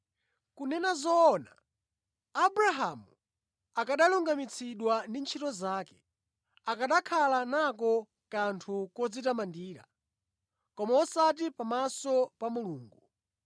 Kunena zoona, Abrahamu akanalungamitsidwa ndi ntchito zake, akanakhala nako kanthu kodzitamandira, koma osati pamaso pa Mulungu.